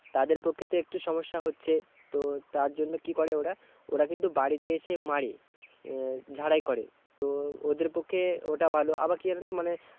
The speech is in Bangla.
তাদের পক্ষে তো একটু সমস্যা হচ্ছে, তো তার জন্য কি করে ওরা, ওরা কিন্তু বাড়িতে এসে মাড়ে, এর ঝাড়াই করে, তো ওদের পক্ষে ওটা ভালো, আবার কি আর হতো মানে